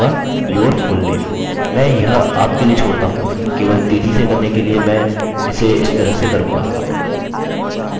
मैं यह आपके लिए छोड़ता हूँ केवल तेज़ी से करने के लिए मैं इसे इस तरह से करूँगा